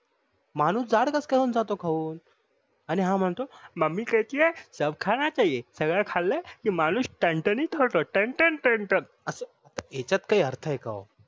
माणूस जाड कस काय होऊन जातो खाऊन आणि हा म्हणतो मामी कहती ही सब खान चाहिये सगळे खाल्ले कि माणूस तंतानीत होतो तन तन तन अस याच्यात काही अर्थ आहे का हो?